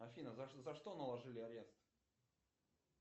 афина за что наложили арест